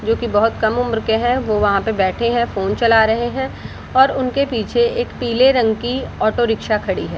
जो की बहुत कम उम्र के हैं वो वहाँ पे बैठे हैं फ़ोन चला रहे हैं और उनके पीछे एक पिले रंग की एक ऑटो रिक्सा खड़ी है |